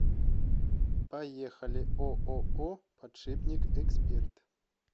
поехали ооо подшипник эксперт